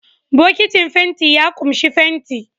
Bokitin fenti ya ƙunshi fenti